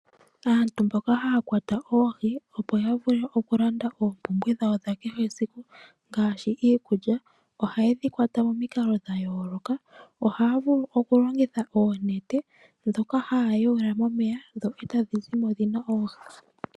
Aantu mboka haya kwata oohi, opo ya vule okulanda oompumbwe dhawo dha kehe esiku ngaashi iikulya, ohaye dhi kwata momikalo dha yooloka. Ohaya vulu okulongitha oonete ndhoka haya yaula momeya e tadhi zimo dhi na oohi.